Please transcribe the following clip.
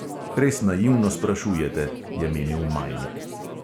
"Res naivno sprašujete," je menil majnik.